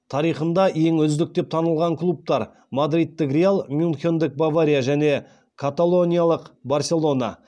тарихында ең үздік деп танылған клубтар мадридтік реал мюнхендік бавария және каталониялық барселона